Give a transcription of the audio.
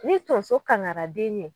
Ni tonso kaŋara den ye